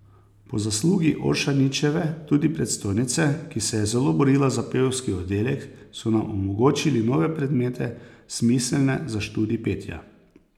Po zaslugi Oršanićeve, tudi predstojnice, ki se je zelo borila za pevski oddelek, so nam omogočili nove predmete, smiselne za študij petja.